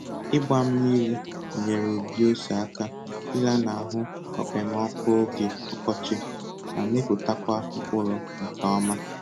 Ịgba mmiri nyeere ubi ose aka ịlanahụ okpemọkụ oge ọkọchị ma mịpụtakwa mkpụrụ nke ọma.